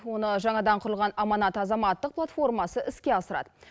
оны жаңадан құрылған аманат азаматтық платформасы іске асырады